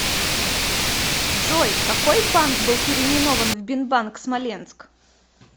джой какой банк был переименован в бинбанк смоленск